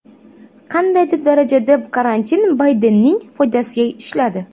Qandaydir darajada karantin Baydenning foydasiga ishladi.